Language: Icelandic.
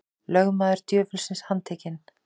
Lögmaður djöfulsins handtekinn